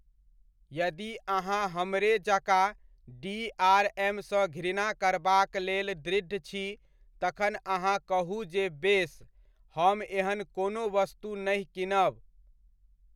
यदि अहाँ हमरे जकाँ डीआरएमसँ घृणा करबाक लेल दृढ़ छी तखन अहाँ कहू जे बेस, हम एहन कोनो वस्तु नहि कीनब।